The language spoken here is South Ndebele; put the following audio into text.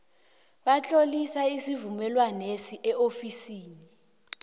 batlolisa isivumelwaneso eofisini